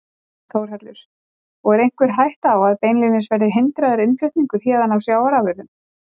Þórhallur: Og er einhver ætta á að beinlínis verði hindraður innflutningur héðan á sjávarafurðum?